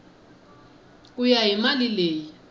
ku ya hi mali leyi